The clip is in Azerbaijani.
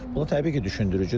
Bu təbii ki, düşündürücüdür.